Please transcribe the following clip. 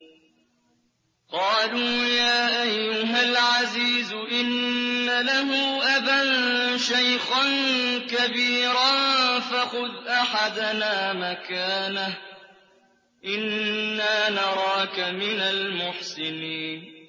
قَالُوا يَا أَيُّهَا الْعَزِيزُ إِنَّ لَهُ أَبًا شَيْخًا كَبِيرًا فَخُذْ أَحَدَنَا مَكَانَهُ ۖ إِنَّا نَرَاكَ مِنَ الْمُحْسِنِينَ